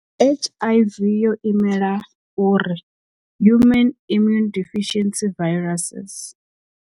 H_I_V yo imela uri human immune deficiency viruses.